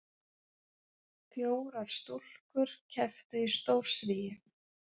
Fjórar stúlkur kepptu í stórsvigi